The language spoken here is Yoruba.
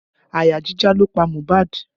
Àyà jíjá ló pa Mohbad